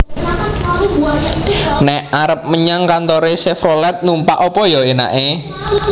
Nek arep menyang kantore Chevrolet numpak opo yo enake?